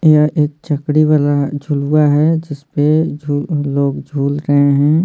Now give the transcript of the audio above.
यह एक चकड़ी वाला झुलुआ है जिस पे अ लोग झूल रहे हैं।